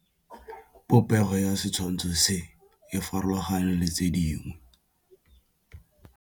Popêgo ya setshwantshô se, e farologane le tse dingwe.